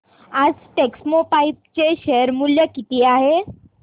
आज टेक्स्मोपाइप्स चे शेअर मूल्य किती आहे